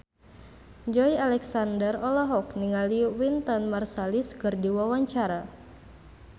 Joey Alexander olohok ningali Wynton Marsalis keur diwawancara